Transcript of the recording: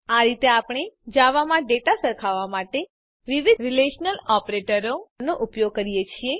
આ રીતે આપણે જાવામાં ડેટા સરખાવવા માટે વિવિધ રીલેશનલ ઓપરેટરોનો ઉપયોગ કરીએ છીએ